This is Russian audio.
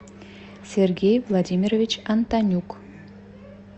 сергей владимирович антонюк